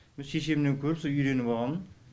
со шешемнен көріп со үйреніп алғам